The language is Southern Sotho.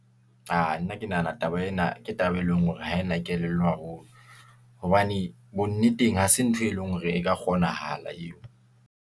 Aa nna ke nahana taba ena, ke taba e leng hore ha ena kelello haholo , hobane bonneteng hase ntho e leng, hore e ka kgonahala eo.